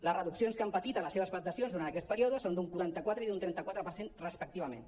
les reduccions que han patit en les seves prestacions durant aquest pe·ríode són d’un quaranta quatre i d’un trenta quatre per cent respectivament